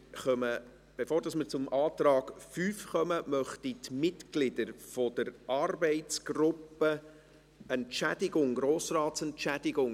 Bevor wir zum Antrag 5 kommen, habe ich eine Mitteilung an die Mitglieder der Arbeitsgruppe «Grossrats-Entschädigung».